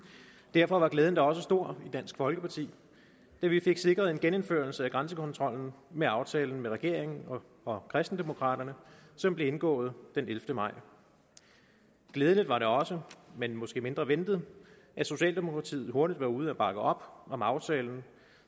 derfor var glæden da også stor i dansk folkeparti da vi fik sikret en genindførelse af grænsekontrollen med aftalen med regeringen og kristendemokraterne som blev indgået den ellevte maj glædeligt var det også men måske mindre ventet at socialdemokratiet hurtigt var ude at bakke op om aftalen